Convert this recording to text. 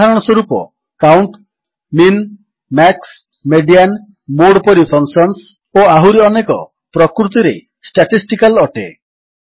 ଉଦାହରଣସ୍ୱରୂପ count min max median mode ପରି functions ଓ ଆହୁରି ଅନେକ ପ୍ରକୃତିରେ ଷ୍ଟାଟିଷ୍ଟିକାଲ୍ ଅଟେ